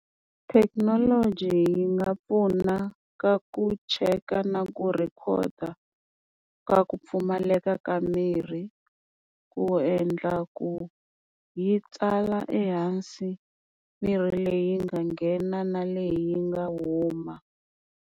Thekinoloji yi nga pfuna ka ku cheka na ku rhekhoda ka ku pfumaleka ka mirhi ku endla ku yi tsala ehansi mirhi leyi nga nghena na leyi yi nga huma.